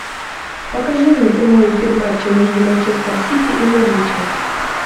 покажи мне прямой эфир матча между манчестер сити и норвичем